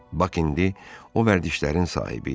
Bax indi o vərdişlərin sahibi idi.